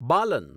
બાલન